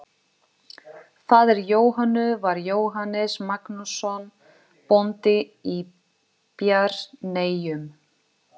Faðir Jóhönnu var Jóhannes Magnússon, bóndi í Bjarneyjum.